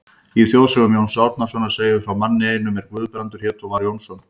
Í þjóðsögum Jóns Árnasonar segir frá manni einum er Guðbrandur hét og var Jónsson.